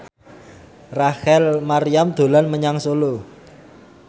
Rachel Maryam dolan menyang Solo